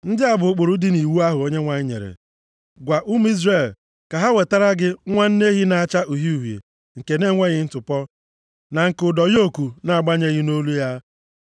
“Ndị a bụ ụkpụrụ dị nʼiwu ahụ Onyenwe anyị nyere. Gwa ụmụ Izrel ka ha wetara gị nwa nne ehi na-acha uhie uhie nke na-enweghị ntụpọ, na nke ụdọ yoku na-agabeghị nʼolu ya.